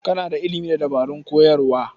Kana da ilimin dabarun koyarwa?